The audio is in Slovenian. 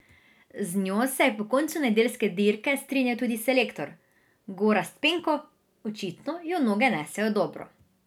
Z njo se je po koncu nedeljske dirke strinjal tudi selektor Gorazd Penko: "Očitno jo noge nesejo dobro.